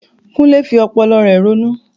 Kunle fi ọpọlọ rẹ̀ ronú.